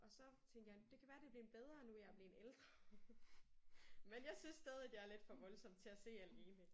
Og så tænkte jeg det kan være det er blevet bedre nu jeg er blevet ældre. Men jeg synes stadig det er lidt for voldsomt til at se alene